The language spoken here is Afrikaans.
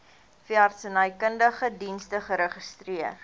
veeartsenykundige dienste geregistreer